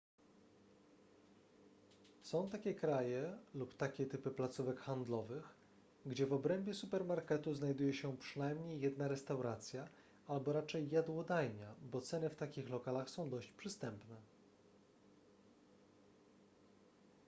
są takie kraje lub takie typy placówek handlowych gdzie w obrębie supermarketu znajduje się przynajmniej jedna restauracja albo raczej jadłodajnia bo ceny w takich lokalach są dość przystępne